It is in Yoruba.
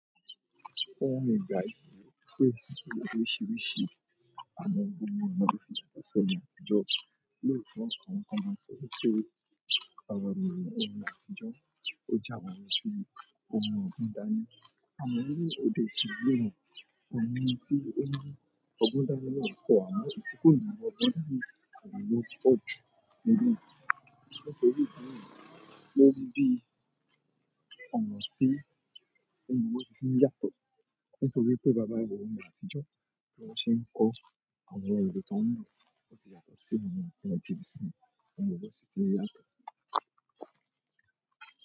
Ó ń gbà tí pé sì oríṣìíríṣìí àwọn ohun tí wọ́n máa ń fi yàtọ̀ sọ ni àtijọ́. Lóòtọ́ àwọn kan máa ń sọ wípé àwọn èrò ọmọ àtijọ́ ó jẹ́ àwọn ọtí ọmọ ògúndá ní. Àmọ̀ níbi òde yìí lóòo, ọmọ ẹni tí ó ní ògúndá ní ọ̀pọ̀ àwọn ètùtù, kíni ọmọ ògúndá ní kò ní lọ ọ́ọ̀jù nínú ìlú. Nítorí pé ìdí nìyẹn ló bí ọ̀nà tí ọmọ ọwọ́ sì ti ń yàtọ̀. Nítorí pé bàbá àwọn ọmọ àtijọ́ ní wọ́n ṣe ń kọ́ àwọn èrò tó ń rọ̀, wọ́n sì yàtọ̀ sí àwọn ìgbà tí ìsinmi ọmọ ọwọ́ sì ti ń yàtọ̀.